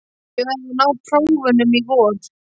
Ég verð að ná prófunum í vor.